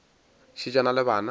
šetše a na le bana